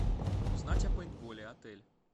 узнать о пейнтболе отель